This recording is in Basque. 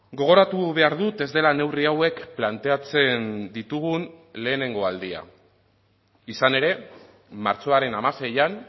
gogoratu behar dut ez dela neurri hauek planteatzen ditugun lehenengo aldia izan ere martxoaren hamaseian